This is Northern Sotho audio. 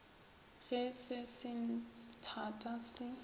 ge se se thata se